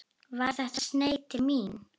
Var þetta sneið til mín?